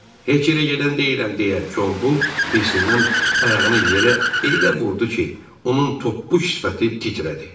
Heç yerə gedən deyiləm deyə Gombul hırsından ayağını yerə elə vurdu ki, onun toppuş sifəti titrədi.